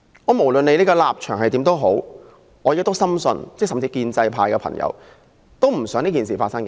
不論立場如何，我深信建制派議員也不想這種事情發生。